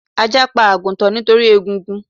Ajá pa àgùtàn nítorí egungun